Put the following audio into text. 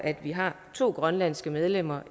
har to grønlandske medlemmer